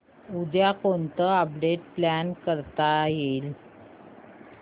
उद्या कोणतं update plan करता येईल